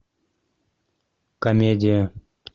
комедия